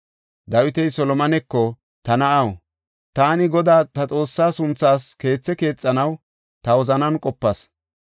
Dawiti Solomoneko, “Ta na7aw, taani Godaa ta Xoossaa sunthaas keethi keexanaw ta wozanan qopas.